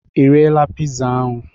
Ị riela pizza ahụ